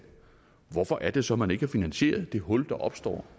hvorfor er det så at man ikke har finansieret det hul der opstår